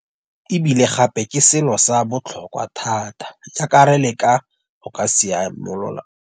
E bile gape ke selo sa botlhokwa thata jaaka re leka go ka simolola.